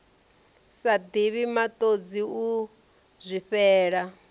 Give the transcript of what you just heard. sa divhi matodzi u zwifhela